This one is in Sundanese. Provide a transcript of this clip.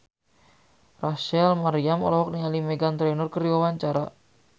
Rachel Maryam olohok ningali Meghan Trainor keur diwawancara